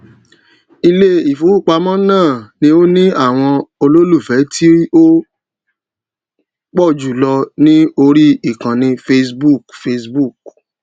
iléìfowópamọ náà ni ó ní àwọn olólùfẹ tí ó pọ jù lọ ní orí ìkànnì facebook facebook